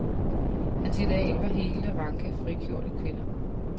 Hans ideal var hele, ranke, frigjorte kvinder.